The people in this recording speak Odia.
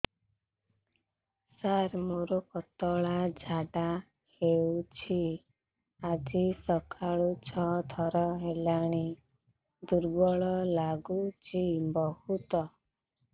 ସାର ମୋର ପତଳା ଝାଡା ହେଉଛି ଆଜି ସକାଳୁ ଛଅ ଥର ହେଲାଣି ଦୁର୍ବଳ ଲାଗୁଚି ବହୁତ